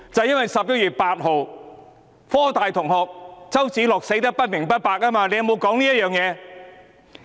因為在11月8日，香港科技大學的周梓樂同學死得不明不白。